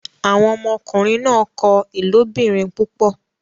Awọn ọmọkunrin náà kọ ilobirin púpọ